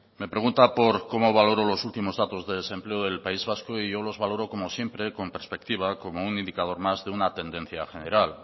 me pregunta por cómo valoro los últimos datos de desempleo del país vasco y yo los valoro como siempre con perspectiva como un indicador más de una tendencia general